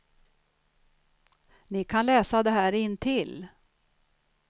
Ni kan läsa det här intill.